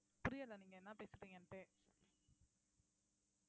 புரியல நீங்க என்ன பேசுறீங்கன்னுட்டே